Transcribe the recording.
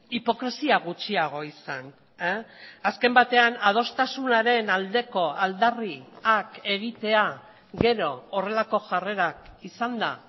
hipokresia gutxiago izan azken batean adostasunaren aldeko aldarriak egitea gero horrelako jarrerak izanda